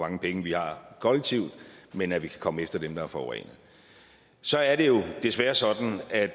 mange penge vi har kollektivt men at vi kan komme efter dem der har forurenet så er det desværre sådan at